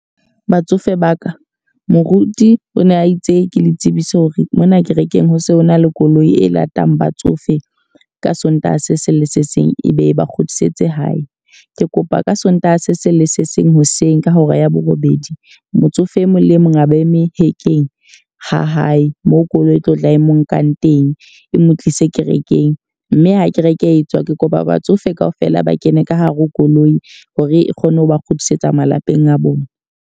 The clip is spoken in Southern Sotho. Batsofe ba ka. Moruti o ne a itse ke le tsebise hore mona kerekeng ho se ho na le koloi e latang batsofe ka Sontaha se seng le se seng, e be e ba kgutlisetse hae. Ke kopa ka Sontaha se seng le se seng hoseng ka hora ya borobedi, motsofe e mong le e mong a ba eme hekeng ha hae. Moo koloi e tlo tla e mo nkang teng e mo tlise kerekeng. Mme ha kereke etswa, ke kopa batsofe ka ofela ba kene ka hare ho koloi hore e kgone ho ba kgutlisetsa malapeng a bona.